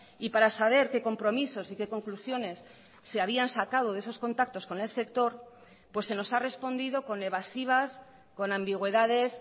y para saber qué compromisos y qué conclusiones se habían sacado de esos contactos con el sector pues se nos ha respondido con evasivas con ambigüedades